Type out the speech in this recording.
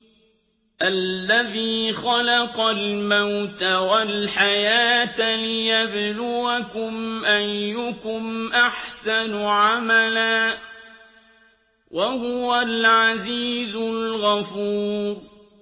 الَّذِي خَلَقَ الْمَوْتَ وَالْحَيَاةَ لِيَبْلُوَكُمْ أَيُّكُمْ أَحْسَنُ عَمَلًا ۚ وَهُوَ الْعَزِيزُ الْغَفُورُ